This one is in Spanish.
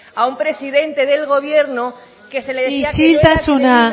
a un presidente del gobierno que se le isiltasuna